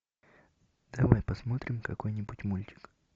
давай посмотрим какой нибудь мультик